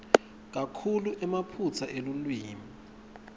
kakhulu emaphutsa elulwimi